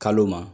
Kalo ma